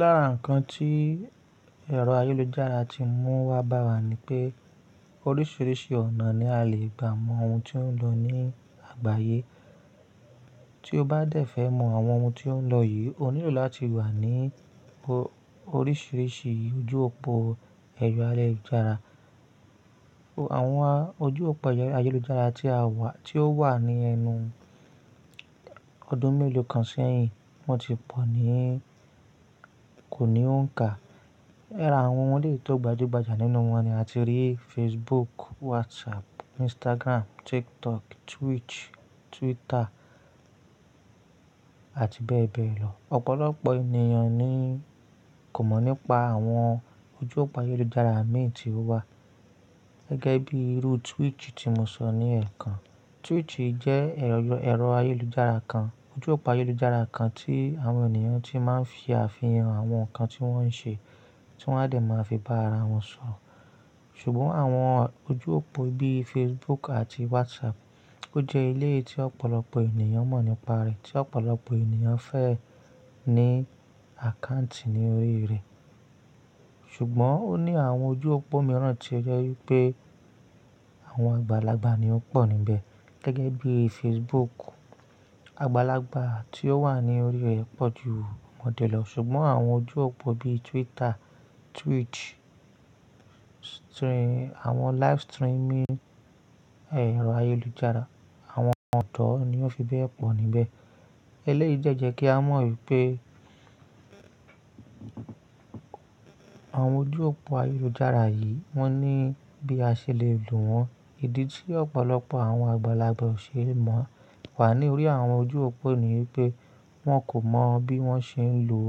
Lára nǹkan tí ẹ̀rọ ayélujára ti mú wá bá wa ni pé oríṣiríṣi ọ̀nà ni a lè gbà mọ ohun tí ó ń lọ ní àgbáyé. Tí o bá dẹ̀ fẹ́ mọ àwọn ohun tí ó ń lọ yìí, o nílò láti wà ní oríṣiríṣi ojú òpó ẹ̀rọ ayélujára. Àwọn ojú òpó ayélujára tí a wà, tí ó wà ní ẹnu ọdún mélòó kan sẹ́yìn, wọ́n ti pọ̀ ní kò ní òǹkà. Lára àwọn eleyii tó gbajúgbajà nínú wọn ni a ti rí Facebook, WhatsApp, Instagram, TikTok, Twitch, Twitter àti bẹ́ẹ̀ bẹ́ẹ̀ lọ. Ọ̀pọ̀lọpọ̀ ènìyàn ni kò mọ̀ nípa àwọn ojú òpó ayélujára mìíràn tí ó wà gẹ́gẹ́ bí irú Twitch tí mo sọ ní ẹ̀ẹ̀kan. Twitch jẹ́ ẹ̀rọ ayélujára kan, ojú òpó ayélujára kan tí àwọn ènìyàn tí máa ń fi àfihàn àwọn nǹkan tí wọ́n ń ṣe, tí wọ́n a lè máa fi bá ara wọn sọ̀. Ṣùgbọ́n àwọn ojú òpó bí Facebook àti WhatsApp, ó jẹ́ ilé tí ọ̀pọ̀lọpọ̀ ènìyàn mọ̀ nípa rẹ̀, tí ọ̀pọ̀lọpọ̀ ènìyàn fẹ́ ní àkáǹtì ní orí rẹ̀. Ṣùgbọ́n ó ní àwọn ojú òpó mìíràn tí ó jẹ́ pé àwọn àgbàlagbà ni ó pọ̀ níbẹ̀ gẹ́gẹ́ bí Facebook. Àgbàlagbà tí ó wà ní orí rẹ̀ pọ̀jù ọmọdé lọ. Ṣùgbọ́n àwọn ojú òpó bí Twitter, Twitch, àwọn live streaming ẹ̀rọ ayélujára, àwọn ọ̀dọ́ ni ó fi bẹ́ẹ̀ pọ̀ níbẹ̀. Eléyìí jẹ́ jẹ́ kí a mọ̀ wípé àwọn ojú òpó ayélujára yìí, wón ní bí a ṣe lè lò wọ́n ìdí tí ọ̀pọ̀lọpọ̀ àwọn àgbàlagbà ò ṣe é mọ̀ wà ní orí àwọn ojú òpó ni wípé wọ́n kò mọ bí wọ́n ṣe ń lo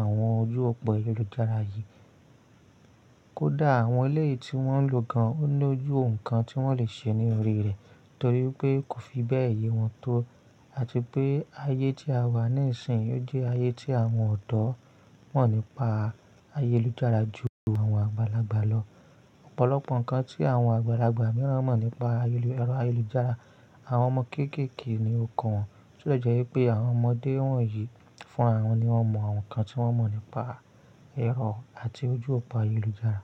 àwọn ojú òpó ayélujára yìí. Kódà àwọn ilé tí wọ́n ń lò gan-an ó ní ojú òǹkà tí wọ́n lè ṣe ní orí rẹ̀ torí pé kò fi bẹ́ẹ̀ yé wọn tó àti pé ayé tí a wà nísinsìnyí ó jẹ́ ayé tí àwọn ọ̀dọ́ mọ̀ nípa ayélujára jù àwọn àgbàlagbà lọ. Ọ̀pọ̀lọpọ̀ nǹkan tí àwọn àgbàlagbà mìíràn mọ̀ nípa ayélujára, àwọn ọmọ kéékèèké ni ó kọ wọn. Ó jẹ́ pé àwọn ọmọdé wọ̀nyí fúnràwọn ni wọ́n mọ àwọn nǹkan tí wọ́n mọ̀ nípa ẹ̀rọ àti ojú òpó ayélujára.